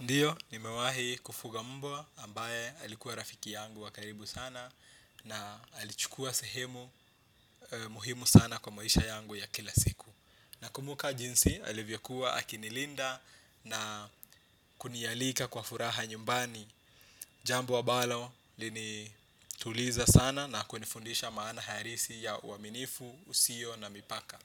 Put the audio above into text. Ndiyo, nimewahi kufuga mbwa ambaye alikuwa rafiki yangu wa karibu sana na alichukua sehemu muhimu sana kwa maisha yangu ya kila siku. Nakumbuka jinsi alivyokuwa akinilinda na kunialika kwa furaha nyumbani, jambo ambalo ilinituliza sana na kunifundisha maana halisi ya uaminifu, usio na mipaka.